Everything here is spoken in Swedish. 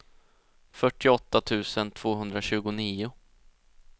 fyrtioåtta tusen tvåhundratjugonio